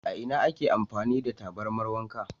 A ina ake amfani da tabarmar wanka?